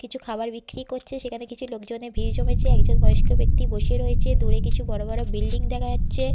কিছু খাবার বিক্রি করছে। সেখানে কিছু লোকজনের ভিড় জমেছে। একজন বয়স্ক ব্যক্তি বসে রয়েছে। দূরে কিছু বড় বড় বিল্ডিং দেখা যাচ্ছে।